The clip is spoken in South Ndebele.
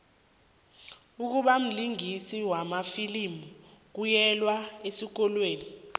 ukubamlingisi wamafilimu kuyelwa esikolweni